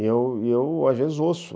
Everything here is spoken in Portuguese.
E eu, e eu às vezes, ouço.